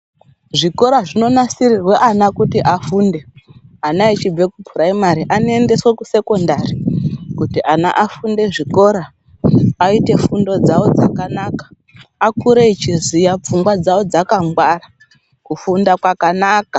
Zvikora zvinonasirirwe ana kuti afunde, ana achibve kupuraimhari anoendeswe kusekondari kuti ana afunde zvikora aite fundo dzavo dzakanaka akure echiziva, pfungwa dzavo dzkangwara, kufunda kwakanakaa.